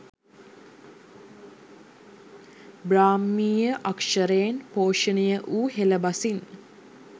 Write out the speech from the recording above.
බ්‍රාහ්මීය අක්‍ෂරයෙන් පෝෂණය වූ හෙළ බසින්